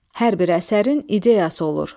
Hər bir əsərin ideyası olur.